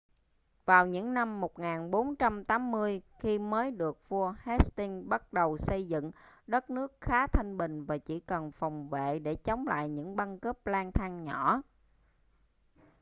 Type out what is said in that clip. vào những năm 1480 khi mới được vua hastings bắt đầu xây dựng đất nước khá thanh bình và chỉ cần phòng vệ để chống lại những băng cướp lang thang nhỏ